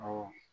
Awɔ